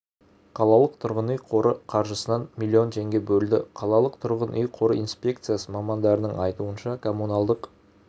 қалалық тұрғын-үй қоры қаржысынан миллион теңге бөлді қалалық тұрғын үй қоры инспекциясы мамандарының айтуынша коммуналдық